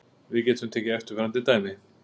Við getum tekið eftirfarandi dæmi: